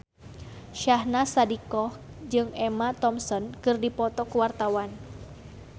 Syahnaz Sadiqah jeung Emma Thompson keur dipoto ku wartawan